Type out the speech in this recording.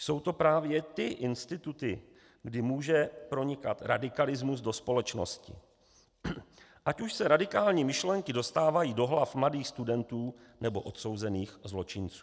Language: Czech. Jsou to právě ty instituty, kdy může pronikat radikalismus do společnosti, ať už se radikální myšlenky dostávají do hlav mladých studentů, nebo odsouzených zločinců.